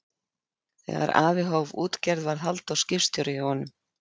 Þegar afi hóf útgerð varð Halldór skipstjóri hjá honum.